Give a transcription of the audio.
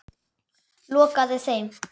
Lokaði þeim.